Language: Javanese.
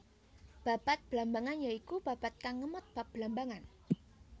Babad Blambangan ya iku babad kang ngemot bab Blambangan